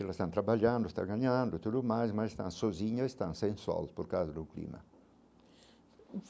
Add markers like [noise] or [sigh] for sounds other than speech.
Elas estão trabalhando, estão ganhando, tudo mais, mas estão sozinhas estão sem, [unintelligible] por causa do clima.